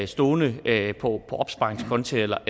stående på opsparingskonti eller